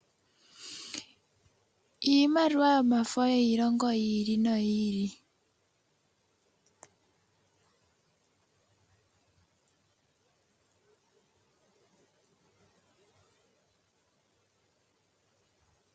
Iimaliwa yomafo yiilongo yi ili noyi ili.